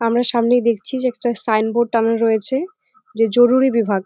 আমরা সামনেই দেখছি যে একটা সাইন বোর্ড টাঙ্গানো রয়েছে যে জরুরি বিভাগ।